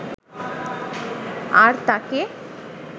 আর তাঁকে